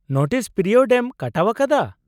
Notice period ᱮᱢ ᱠᱟᱴᱟᱣ ᱟᱠᱟᱫᱟ ?